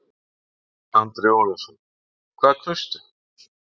Andri Ólafsson: Hvað kaustu?